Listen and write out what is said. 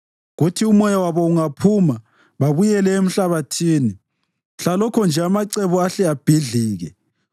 Kuthi umoya wabo ungaphuma, babuyele emhlabathini; mhlalokho nje amacebo ahle abhidlike.